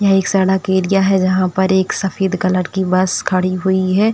यह एक सड़क एरिया है जहां पर एक सफेद कलर की बस खड़ी हुई है।